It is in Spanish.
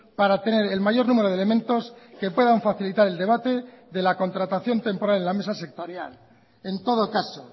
para tener el mayor número de elementos que puedan facilitar el debate de la contratación temporal en la mesa sectorial en todo caso